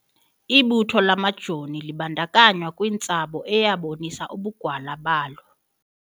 Ibutho lamajoni libandakanywa kwintsabo eyabonisa ubugwala balo.